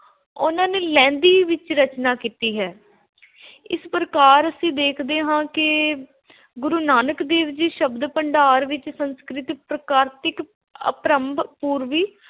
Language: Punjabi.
ਉਨ੍ਹਾਂ ਨੇ ਲਹਿੰਦੀ ਵਿਚ ਰਚਨਾ ਕੀਤੀ ਹੈ। ਇਸ ਪ੍ਰਕਾਰ ਅਸੀਂ ਦੇਖਦੇ ਹਾਂ ਕਿ ਗੁਰੂ ਨਾਨਕ ਦੇਵ ਜੀ ਸ਼ਬਦ ਭੰਡਾਰ ਵਿਚ ਸੰਸਕ੍ਰਿਤ, ਪ੍ਰਾਕ੍ਰਿਤ, ਅਪਭ੍ਰੰਸ਼, ਪੂਰਬੀ